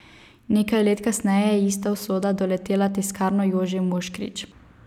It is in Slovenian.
Nekaj let kasneje je ista usoda doletela Tiskarno Jože Moškrič.